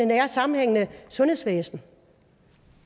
nære sammenhængende sundhedsvæsen